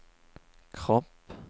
kropp